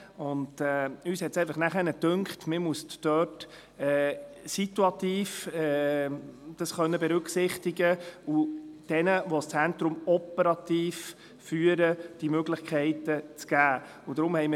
Zudem hatten wir den Eindruck, man müsse dies dort situativ berücksichtigen können und die Möglichkeiten denjenigen geben, die das Zentrum operativ führen.